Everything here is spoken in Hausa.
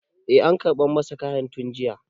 e an karɓa masa kayan tun jiya